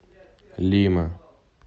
лима